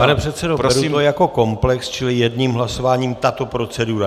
Pane předsedo, beru to jako komplex, čili jedním hlasováním tato procedura.